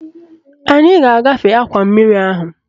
Anyị ga-agafe akwa mmiri ahụ